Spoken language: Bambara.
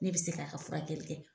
Ne bɛ se k'a ka furakɛli kɛ .